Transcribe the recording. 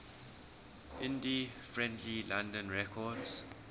indie friendly london records